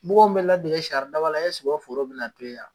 Mɔgɔ m bɛ ladege saridaba la o foro bɛna to ye a?